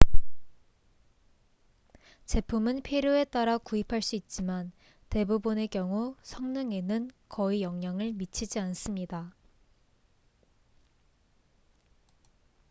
제품은 필요에 따라 구입할 수 있지만 대부분의 경우 성능에는 거의 영향을 미치지 않습니다